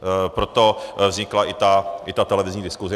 Proto vznikla i ta televizní diskuse.